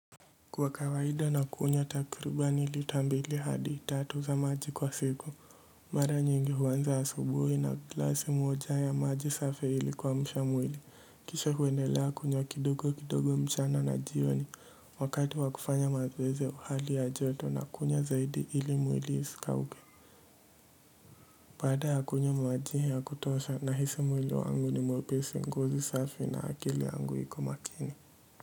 Kwa kawaida na kunywa takirubani LIta mbili hadi tatu za maji kwa siku mara nyingi huwanza asubuhi na glasi moja ya maji safi ilikuamshamwili kisha huendelea kunywa kidogo kidogo mchana na jioni wakati wakufanya mazoezi ya uhali ya joto na kunywa zaidi ili mwili isikauke baada ya kunywa majihe ya kutosha na hisi mwili wangu ni mwepesi ngozi safi na akili yangu hiko makini.